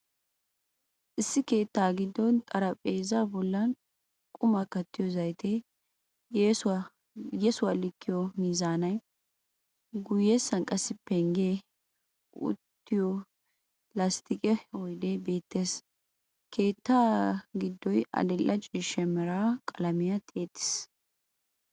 Issi keetta giddon xaraphpheeza bollan qumaa kattiyo zayitee, yesuwaa likiyo miizaanaynne guyessan qassi penggee, uttiyo lasttiqe oydee beettees. keetta giddoy adil"e ciishsha mera qalaamiya tiyettiis.